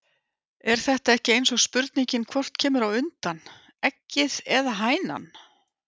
Er þetta ekki eins og spurningin hvort kemur á undan. eggið eða hænan????